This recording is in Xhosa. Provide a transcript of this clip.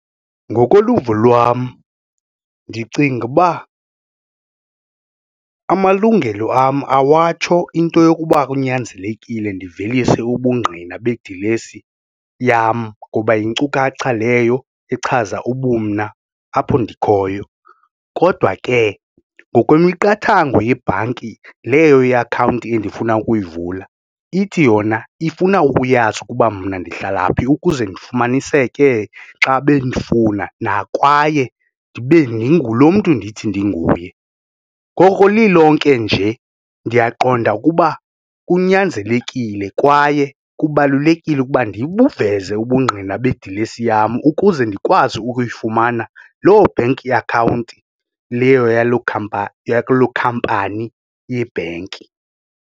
Ngokoluvo lwam ndicinga uba amalungelo am awatsho into yokuba kunyanzelekile ndivelise ubungqina bedilesi yam ngoba yinkcukacha leyo echaza ubumna apho ndikhoyo, kodwa ke ngokwemiqathango yebhanki leyo ye-akhawunti endifuna ukuyivula ithi yona ifuna ukuyazi ukuba mna ndihlala phi ukuze ndifumaniseke xa bendifuna kwaye ndibe ndingu lomntu ndithi ndinguye, ngoko lilonke nje ndiyaqonda ukuba kunyanzelekile kwaye kubalulekile ukuba ndibuveze ubungqina bedilesi yam ukuze ndikwazi ukuyifumana loo bank account leyo yalo, yakuloo khampani yebhenki.